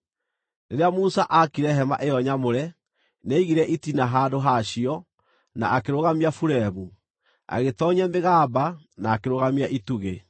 Rĩrĩa Musa aakire hema ĩyo nyamũre, nĩaigire itina handũ ha cio, na akĩrũgamia buremu, agĩtoonyia mĩgamba na akĩrũgamia itugĩ.